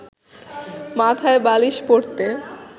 মাথায় বালিশ পড়তে